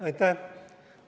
Aitäh!